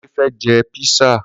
Kunle fẹ́ jẹ písà